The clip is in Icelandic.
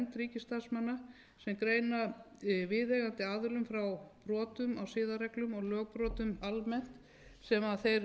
ríkisstarfsmanna sem greina viðeigandi aðilum frá brotum á siðareglum og lögbrotum almennt sem þeir